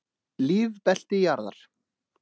Lífbelti jarðar.